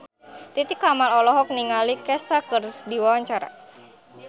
Titi Kamal olohok ningali Kesha keur diwawancara